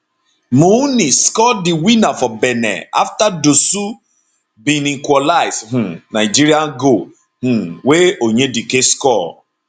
mounni score di winner for benin afta dossou bin equalise um nigeria goal um wey onyedike score